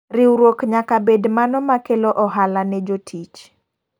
Riwruok nyaka bed mano makelo ohala ne jotich.